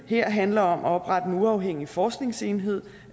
her handler om at oprette en uafhængig forskningsenhed